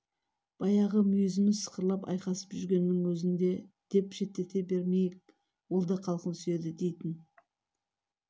баяғы мүйізіміз сықырлап айқасып жүргеннің өзін де деп шеттете бермейік ол да халқын сүйеді дейтін